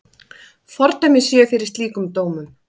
Fordæmi séu fyrir slíkum dómum.